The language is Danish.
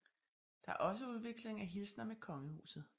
Der er også udveksling af hilsener med kongehuset